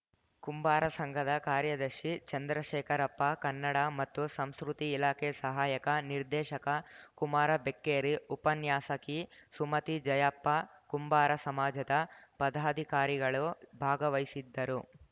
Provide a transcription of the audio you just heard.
ಕುಂಬಾರ ಸಂಘದ ಕಾರ್ಯದರ್ಶಿ ಚಂದ್ರಶೇಖರಪ್ಪ ಕನ್ನಡ ಮತ್ತು ಸಂಸ್ಕೃತಿ ಇಲಾಖೆ ಸಹಾಯಕ ನಿರ್ದೇಶಕ ಕುಮಾರ ಬೆಕ್ಕೇರಿ ಉಪನ್ಯಾಸಕಿ ಸುಮತಿ ಜಯಪ್ಪ ಕುಂಬಾರ ಸಮಾಜದ ಪದಾಧಿಕಾರಿಗಳು ಭಾಗವಹಿಸಿದ್ದರು